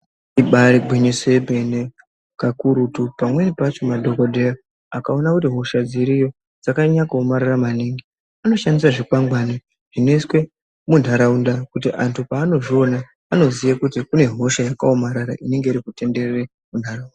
Ibari gwinyiso remene kakurutu pamweni pacho madhokoteya akaona kuti hosha dziriyo dzakanyanya kuomarara maningi anoshandisa zvikwangwari zvinoiswa mundaraunda kuti antu panozviona anoziya kuti kune hosha yakaomarara inenge iri kutenderera mundaraunda.